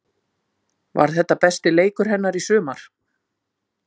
Var þetta besti leikur hennar í sumar?